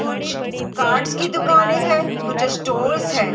कुछ कार्स की दुकाने हैं कुछ स्टोर्स हैं।